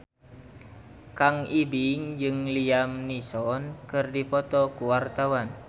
Kang Ibing jeung Liam Neeson keur dipoto ku wartawan